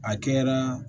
A kɛra